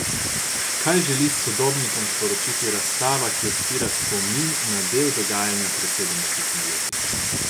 Kaj želi sodobnikom sporočiti razstava, ki odstira spomin na del dogajanja pred sedemdesetimi leti?